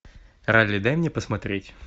ралли дай мне посмотреть